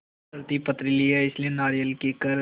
धरती पथरीली है इसलिए नारियल कीकर